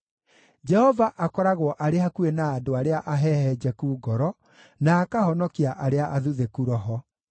Jehova akoragwo arĩ hakuhĩ na andũ arĩa ahehenjeku ngoro, na akahonokia arĩa athuthĩku roho.